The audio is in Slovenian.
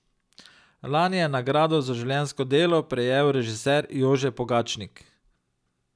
Lani je nagrado za življenjsko delo prejel režiser Jože Pogačnik.